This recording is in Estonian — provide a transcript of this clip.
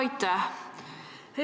Aitäh!